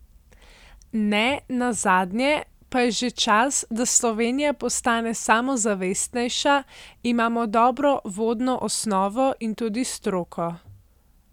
Ne nazadnje pa je že čas, da Slovenija postane samozavestnejša, imamo dobro vodno osnovo in tudi stroko.